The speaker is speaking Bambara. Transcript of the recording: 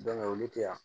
olu tɛ yan